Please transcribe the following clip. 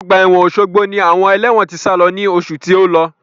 Ọgbà ẹ̀wọ̀n Osogbo ni àwọn ẹlẹ́wọ̀n tí sálo ní oṣù tí ó lọ.